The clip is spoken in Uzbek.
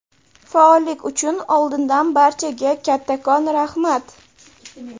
Faollik uchun oldindan barchaga kattakon raxmat!.